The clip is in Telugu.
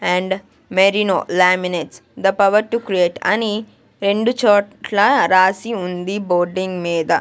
and Mary no laminate the power to create అని రెండు చోట్ల రాసి ఉంది బోర్డింగ్ మీద--